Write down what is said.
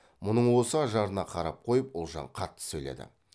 мұның осы ажарына қарап қойып ұлжан қатты сөйледі